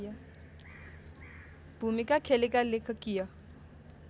भूमिका खेलेका लेखकीय